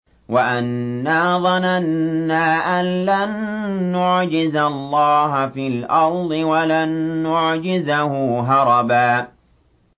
وَأَنَّا ظَنَنَّا أَن لَّن نُّعْجِزَ اللَّهَ فِي الْأَرْضِ وَلَن نُّعْجِزَهُ هَرَبًا